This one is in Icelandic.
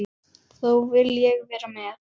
Þá vil ég vera með.